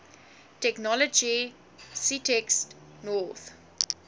technology ctext north